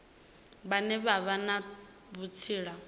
vhane vha vha na vhutsila